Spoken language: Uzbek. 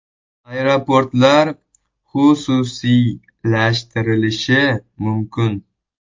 Aeroportlar xususiylashtirilishi mumkin .